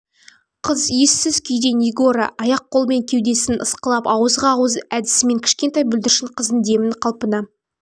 қыз ессіз күйде нигора аяқ-қол мен кеудесін ысқылап ауызға ауыз әдісімен кішкентай бүлдіршін қыздың демін қалпына